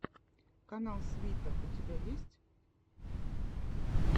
канал свита у тебя есть